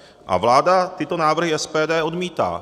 A vláda tyto návrhy SPD odmítá.